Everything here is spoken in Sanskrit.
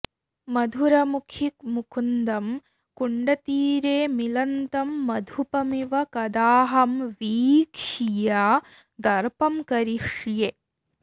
मधुरमुखि मुकुन्दं कुण्डतीरे मिलन्तं मधुपमिव कदाहं वीक्ष्य दर्पं करिष्ये